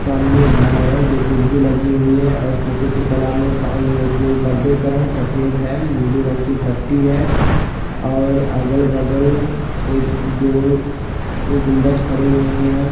सामने घर है जो खिड़की लगी हुई है और छोटी सी तलाब में पा ये जो पर्दे का रंग सफेद है हम्म नीले रंग कि पट्टी है और अगल बगल एक दो एक गुंबज खड़े हुए हैं।